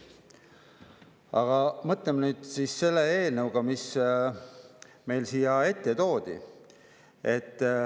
Aga mõtleme nüüd selle eelnõu peale, mis meie ette siia toodi.